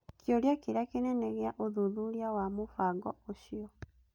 Kĩũria kĩrĩa kĩnene gĩa ũthuthuria wa mũbango ũcio.